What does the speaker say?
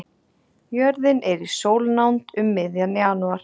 Jörðin er í sólnánd um miðjan janúar.